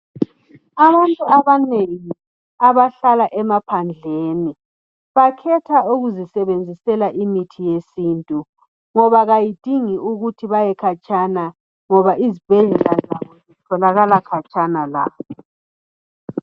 Abantu abanengi abahlala emaphandleni bakhetha ukuzisebenzisela imithi yesintu ngoba kayidingi ukuthi bayekhatshana ngoba izibhedlela zabo zitholakala khatshana labo.